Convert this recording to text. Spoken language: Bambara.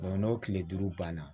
n'o tile duuru banna